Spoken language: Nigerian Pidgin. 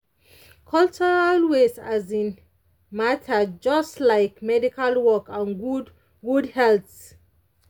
cultural ways um matter just like medical work for good good health.